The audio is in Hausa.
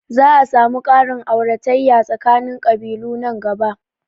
Za a samu ƙarin auratayya tsakanin ƙabilu nan gaba